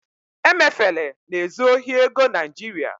emefele na-ezu ohi ego nigeria